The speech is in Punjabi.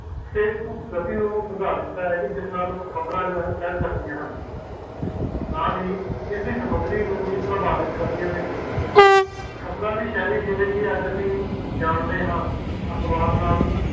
facebook ਕਤੀਰੁਕਟ ਉਦਾਰੀਤ ਹੈ ਕਿ ਜਿਸ ਨਾਲ ਖ਼ਬਰ ਫੇਲ ਸਕਦੀ ਆ ਹਨ ਨਾਲ ਹੀ ਇਸ ਦੀ ਸਮੱਗਰੀ ਨੂੰ ਵੀ ਪ੍ਰਭਾਵਿਤ ਕਰਦਿਆਂ ਨੈ ਖ਼ਬਰ ਦੀ ਸੇਹਲੀ ਜਿਸ ਨੂੰ ਅਸੀਂ ਜਾਂਦੇ ਆ ਅਖਬਾਰ ਨਾਲ ਰੇਡੀਓ ਜੁੜਦੀ ਹੁਈ ਹੈ